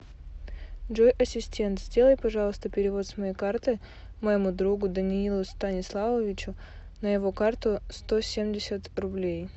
джой ассистент сделай пожалуйста перевод с моей карты моему другу даниилу станиславовичу на его карту сто семьдесят рублей